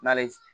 N'ale